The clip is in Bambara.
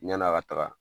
Yan'a ka taga